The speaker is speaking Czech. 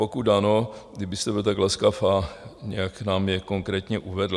Pokud ano, kdybyste byl tak laskav a nějak nám je konkrétně uvedl?